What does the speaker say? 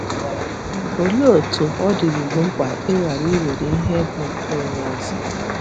Olee otú ọ dịruru mkpa ịghara iwere ihe bụ nke onye ọzọ?